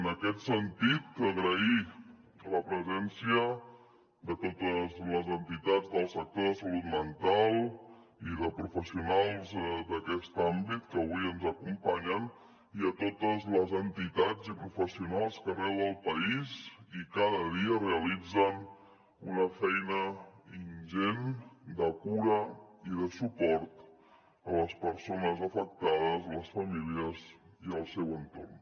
en aquest sentit agrair la presència de totes les entitats del sector de la salut mental i de professionals d’aquest àmbit que avui ens acompanyen i a totes les entitats i professionals que arreu del país i cada dia realitzen una feina ingent de cura i de suport a les persones afectades les famílies i el seu entorn